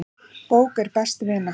Bók er best vina.